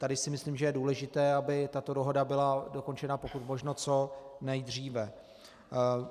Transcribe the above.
Tady si myslím, že je důležité, aby tato dohoda byla dokončena pokud možno co nejdříve.